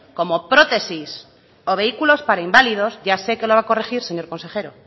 como prótesis o vehículos para inválidos ya sé que lo va a corregir señor consejero